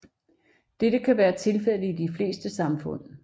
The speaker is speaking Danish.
Dette kan være tilfældet i de fleste samfund